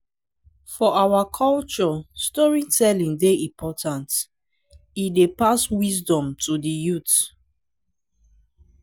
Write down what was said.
for our culture storytelling dey important; e dey pass wisdom to the youth.